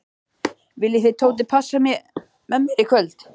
Viljið þið Tóti passa með mér í kvöld?